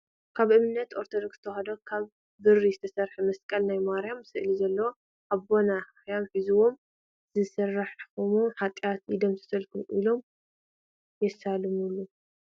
ካብ እምነት ኦርቶዶክስ ተዋህዶ ካብ ብሪ ዝተሰረሐ መስቀል ናይ ማርያም ስእሊ ዘለዋ ኣቦናትና ካሕያት ሒዞም ዝሰራሕክምዎ ሓጥያት ይደምሰስ ኢሎም የሳልሙሉ ።